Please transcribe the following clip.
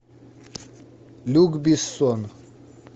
люк бессон